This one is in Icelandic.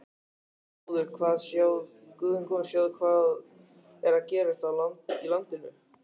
Guð minn góður: sjáðu hvað er að gerast í landinu.